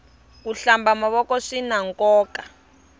ku hlamba mavoko swinankoka